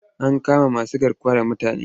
An kama masugarkuwa da mutane.